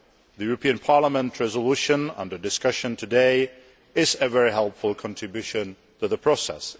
The European Parliament resolution under discussion today is a very helpful contribution to the process.